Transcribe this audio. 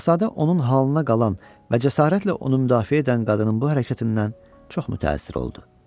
Şahzadə onun halına qalan və cəsarətlə onu müdafiə edən qadının bu hərəkətindən çox mütəəssir oldu.